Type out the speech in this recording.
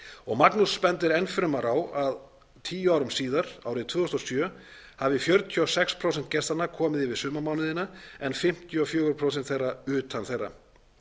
og magnús bendir enn fremur á að tíu árum síðar árið tvö þúsund og sjö hafi fjörutíu og sex prósent gestanna komið yfir sumarmánuðina en fimmtíu og fjögur prósent utan þeirra